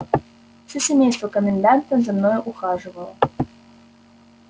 все семейство коменданта за мною ухаживало